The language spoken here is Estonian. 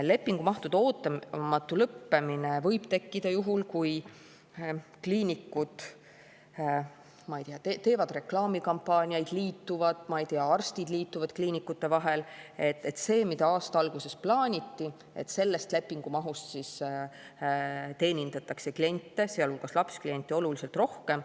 Lepingumahtude ootamatu lõppemine võib tekkida juhul, kui kliinikud teevad reklaamikampaaniaid, liituvad, ma ei tea, arstid kliinikute vahel, ja sellest lepingumahust, mida aasta alguses plaaniti, teenindatakse kliente, sealhulgas lapskliente, oluliselt rohkem.